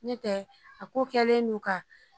Ne tɛ a ko kɛlen no ka